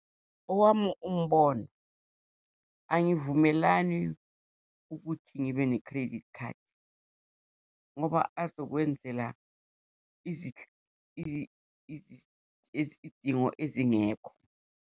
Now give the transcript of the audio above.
Owami umbono, angivumelani ukuthi ngibe ne-credit card, ngoba azokwenzela izidingo ezingekho.